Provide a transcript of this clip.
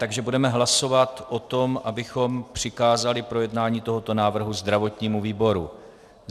Takže budeme hlasovat o tom, abychom přikázali projednání tohoto návrhu zdravotnímu výboru.